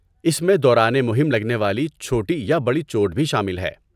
اس میں دوران مہم لگنے والی چھوٹی یا بڑی چوٹ بھی شامل ہے۔